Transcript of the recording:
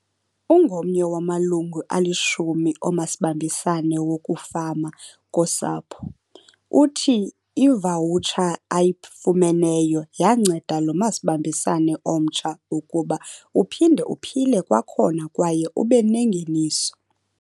Ungomnye wamalungu alishumi omasibambisane wokufama kosapho, uthi ivawutsha ayifumeneyo yanceda lo masibambisane omtsha ukuba uphinde uphile kwakhona kwaye ubenengeniso.